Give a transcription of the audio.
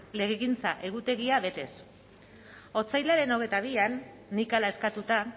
legegintza egutegia betez otsailaren hogeita bian nik hala eskatuta